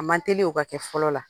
A man teli o ka kɛ fɔlɔ la.